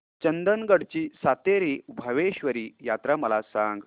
चंदगड ची सातेरी भावेश्वरी यात्रा मला सांग